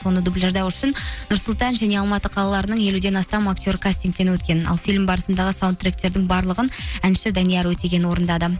соны дубляждау үшін нұр сұлтан және алматы қалаларының елуден астам актер кастнигтен өткен ал фильм барысындағы саундтректердің барлығын әнші данияр өтеген орындады